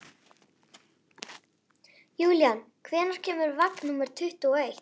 Júlían, hvenær kemur vagn númer tuttugu og eitt?